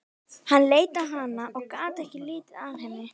Hann leit á hana og gat ekki litið af henni.